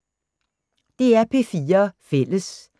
DR P4 Fælles